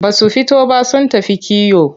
Ba su fito ba sun tafi kiwo.